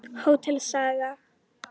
Hótel Saga.